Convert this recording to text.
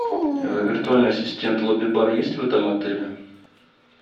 виртуальный ассистент лобби бар есть в этом отеле